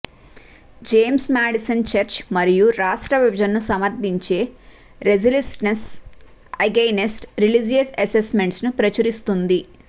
James Madison చర్చి మరియు రాష్ట్ర విభజనను సమర్ధించే రెలిస్ట్రన్సెస్ అగైన్స్ట్ రిలిజియస్ అసెస్మెంట్స్ ను ప్రచురిస్తుంది